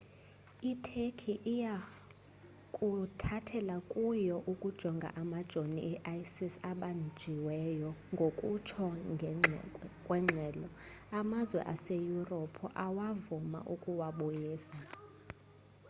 iturkey iya kuthathela kuyo ukujonga amajonii e-isis abanjiweyo ngokutsho kwengxelo amazwe aseyurophu awavuma ukuwabuyisa